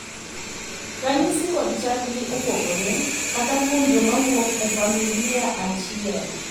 ranyisi kod chal gi opogore, kata kuom joma wuok e familia achiel